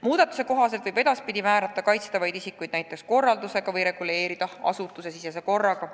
Muudatuse kohaselt võib kaitstavaid isikuid edaspidi määrata näiteks korraldusega või reguleerida seda asutusesisese korraga.